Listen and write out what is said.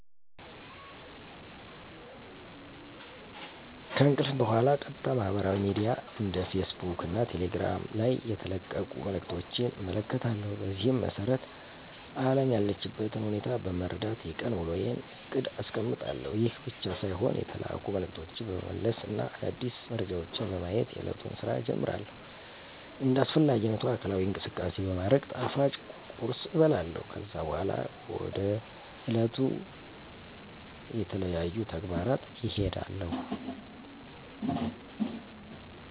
ከእንቅልፍ በኋላ ቀጥታ ማህበራዊ ሚድያ እንደ ፌስ ቡክ እና ቴሌግራም ላይ የተለቀቁ መልዕክቶችን እመለከታለሁ። በዚህም መሰረት አለም ያለችበትን ሁኔታ በመረዳት የቀን ዉሎየን እቅድ አስቀምጣለሁ። ይህ ብቻ ሳይሆን የተላኩ መልዕክቶችን በመመለስ እና አዳዲስ መረጃዎችን በማየት የእለቱን ስራ እጀምራለሁ። እንደ አስፈላጊነቱ አካላዊ እንቅስቃሴ በማድረግ ጣፋጭ ቁርስ እበላለሁ። ከዛ በኋላ ወደ ዕለቱ ተለያዩ ተግባራት እሄዳለሁ።